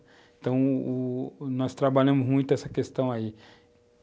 Então, u u nós trabalhamos muito essa questão aí.